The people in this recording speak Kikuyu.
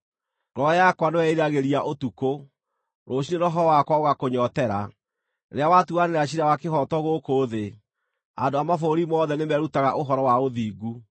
Ngoro yakwa nĩwe ĩĩriragĩria ũtukũ; rũciinĩ roho wakwa ũgakũnyootera. Rĩrĩa watuanĩra ciira wa kĩhooto gũkũ thĩ, andũ a mabũrũri mothe nĩmerutaga ũhoro wa ũthingu.